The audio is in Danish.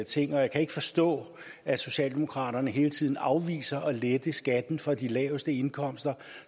ting jeg kan ikke forstå at socialdemokraterne hele tiden afviser at lette skatten for de laveste indkomster